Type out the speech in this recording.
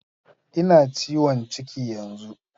Ina ciwon ciki yanzu